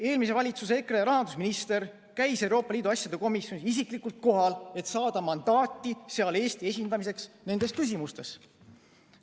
Eelmise valitsuse EKRE rahandusminister käis Euroopa Liidu asjade komisjonis isiklikult kohal, et saada mandaati seal Eesti esindamiseks nendes küsimustes.